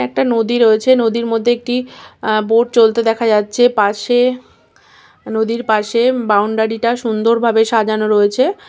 একটা নদী রয়েছে নদীর মধ্যে আ একটি বোট চলতে দেখা যাচ্ছে পাশে নদীর পাশে বাউন্ডারি -টা সুন্দরভাবে সাজানো রয়েছে।